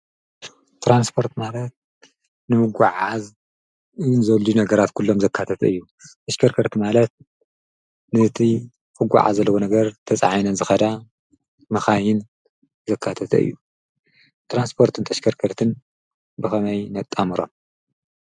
ትራንስፖርት ማለት ንምጉዕዓዝ ዘድልዩ ነገራት ኩሎም ዘካተተ እዩ። ተሽከርከርቲ ማለት ነቲ ክጓዓዝ ዘለዎ ነገር ተጻዒነን ዝከዳ መካይን ዘካተተ እዩ። ትራንስፖርትን ተሽከርከርትን ብከመይ ነጣምሮም?